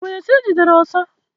E nwere esi Ị gidere ọsa?